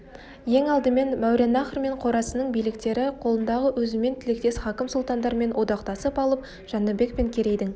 ең алдымен мауреннахр мен қорасанның биліктері қолындағы өзіммен тілектес хакім сұлтандармен одақтасып алып жәнібек пен керейдің